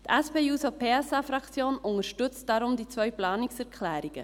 Die SP-JUSO-PSA-Fraktion unterstützt deshalb diese beiden Planungserklärungen.